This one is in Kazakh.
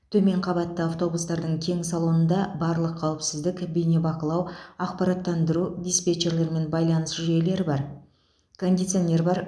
төмен қабатты автобустардың кең салонында барлық қауіпсіздік бейнебақылау ақпараттандыру диспетчерлермен байланыс жүйелері бар кондиционер бар